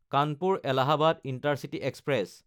কানপুৰ–এলাহাবাদ intercity express